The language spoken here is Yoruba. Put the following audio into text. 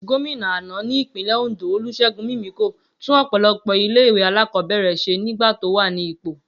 Gómìnà àná ní Ìpínlẹ̀ Òndó Olúṣẹ́gun Mímíkò tún ọ̀pọ̀lọpọ̀ ilé ìwé alákọ̀ọ́bẹ̀rẹ̀ ṣe nígbà tó wà ní ipò